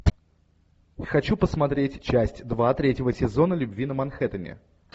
хочу посмотреть часть два третьего сезона любви на манхэттене